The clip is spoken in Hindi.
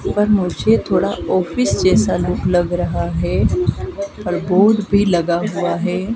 पर मुझे थोड़ा ऑफिस जैसा लुक लग रहा है और बोर्ड भी लगा हुआ है।